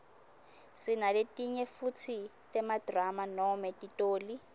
sinaletinye futsi temadrama noma titoli